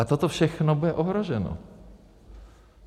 A toto všechno bude ohroženo.